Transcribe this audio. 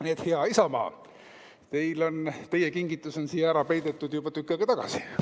Nii et, hea Isamaa, teie kingitus on ka siia ära peidetud juba tükk aega tagasi.